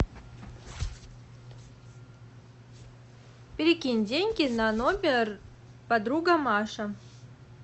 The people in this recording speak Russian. перекинь деньги на номер подруга маша